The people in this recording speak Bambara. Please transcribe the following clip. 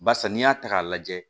Barisa n'i y'a ta k'a lajɛ